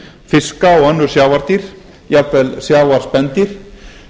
fiska og önnur sjávardýr jafnvel sjávarspendýr